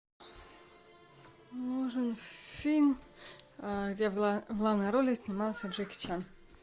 нужен фильм где в главной роли снимался джеки чан